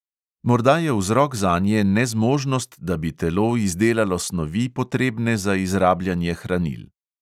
Morda je vzrok zanje nezmožnost, da bi telo izdelalo snovi, potrebne za izrabljanje hranil.